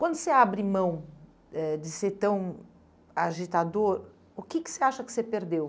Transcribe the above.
Quando você abre mão eh de ser tão agitador, o que que você acha que você perdeu?